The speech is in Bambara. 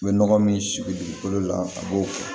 U bɛ nɔgɔ min sigi dugukolo la a b'o kɛ